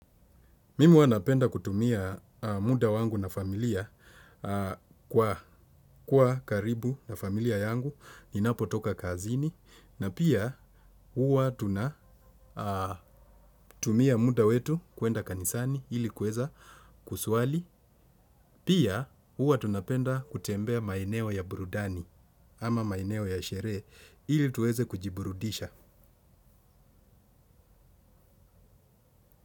Mimi huwa napenda kutumia muda wangu na familia kwa kuwa karibu na familia yangu ninapotoka kazini na pia huwa tunatumia muda wetu kuenda kanisani ili kuweza kuswali. Pia huwa tunapenda kutembea maeneo ya burudani ama maeneo ya sherehe ili tuweze kujiburudisha.